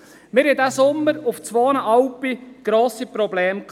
Wir hatten in diesem Sommer auf zwei Alpen grosse Probleme.